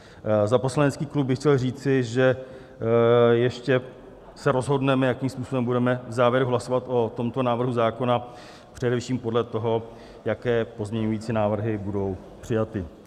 Za poslanecký klub bych chtěl říci, že ještě se rozhodneme, jakým způsobem budeme v závěru hlasovat o tomto návrhu zákona, především podle toho, jaké pozměňující návrhy budou přijaty.